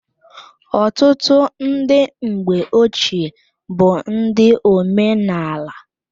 Ọtụtụ ndị mgbe ochee bụ ndị omenala.